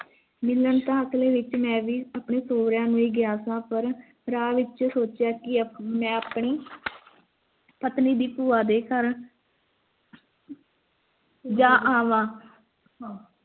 ਮਿਲਨ ਆਪਣੇ ਸੋਰੇਆਂ ਨੂੰ ਹੀ ਗਿਆ ਸ ਪਰ ਰਾਹ ਦੇ ਵਿਚ ਸੋਚਿਆ ਕੀ ਮੈਂ ਆਪਣੀ ਪਤਨੀ ਦੀ ਭੂਆ ਦੇ ਘਰ ਜਾ ਆਵਾਂ